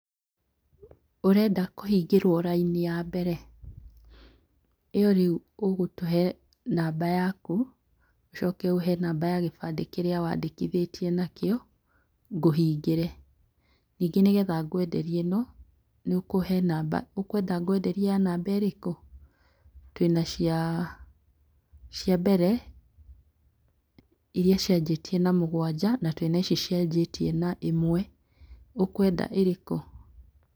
Ũrenda kũhingĩrwo raini ya mbere? Ĩyo rĩu ũgũtũhe namba yaku, ũcoke ũhe namba ya kĩbandĩ kĩrĩa wandĩkithĩtie nakĩo ngũhingĩre, ningĩ nĩgetha ngwenderie ĩno nĩ ũkũhe namba, ũkwenda ngwenderie ya namba ĩrĩkũ? Twĩna cia mbere iria cianjĩtie na mũgwanja, ndĩna ici cianjĩtie na ĩmwe ũkwenda ĩrĩ kũ?